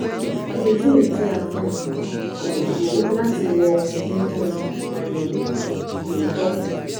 Àpèjúwe tí a fúnni kò tó láti wọ inú àyẹ̀wò tó tọ́